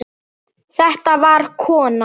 Þetta var kona.